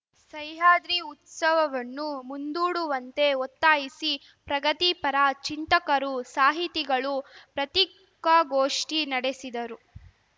ಸಹ್ಯಾದ್ರಿ ಉತ್ಸವವನ್ನು ಮುಂದೂಡುವಂತೆ ಒತ್ತಾಯಿಸಿ ಪ್ರಗತಿಪರ ಚಿಂತಕರು ಸಾಹಿತಿಗಳು ಪ್ರತ್ರಿಕಾಗೋಷ್ಠಿ ನಡೆಸಿದರು